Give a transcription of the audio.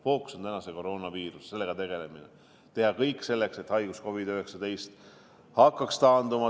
Täna on fookus koroonaviirus, sellega tegelemine, et teha kõik selleks, et haigus COVID-19 hakkaks taanduma.